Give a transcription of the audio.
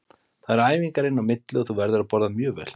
Það eru æfingar inn á milli og þú verður að borða mjög vel.